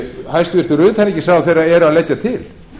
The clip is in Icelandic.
hæstvirtur utanríkisráðherra eru að leggja til